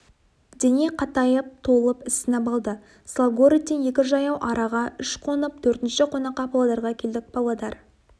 дене қатайып толып ісініп алды славгородтен екі жаяу араға үш қонып төртінші қонаққа павлодарға келдік павлодар